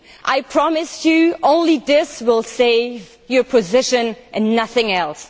need. I promise you only this will save your position, and nothing else.